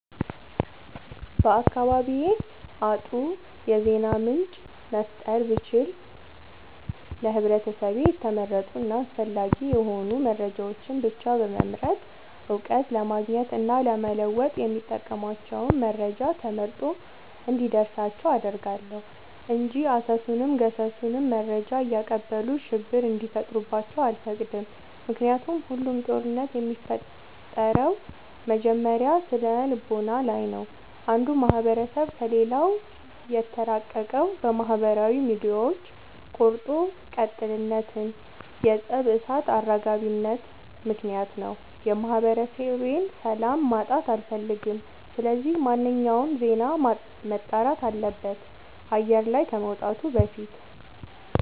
በአካባቢዬ አጥሩ የዜና ምንጭ መፍጠር ብችል ለህብረተሰቤ የተመረጡ እና አስፈላጊ የሆኑ መረጃዎችን ብቻ በመምረጥ እውቀት ለማግኘት እና ለመወጥ የሚጠቅሟቸውን መረጃ ተመርጦ እንዲደርሳቸው አደርጋለሁ። እንጂ አሰሱንም ገሰሱንም መረጃ እያቀበሉ ሽብር እንዲፈጥሩባቸው አልፈቅድም ምክንያቱም ሁሉም ጦርነት የሚፈጠረው መጀመሪያ ስነልቦና ላይ ነው። አንዱ ማህበረሰብ ከሌላው የተራራቀው በማህበራዊ ሚዲያዎች ቆርጦ ቀጥልነት የፀብ እሳት አራጋቢነት ምክንያት ነው። የማህበረሰቤን ሰላም ማጣት አልፈልግም ስለዚህ ማንኛውም ዜና መጣራት አለበት አየር ላይ ከመውጣቱ በፊት።